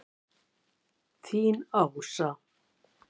Þín, Ása.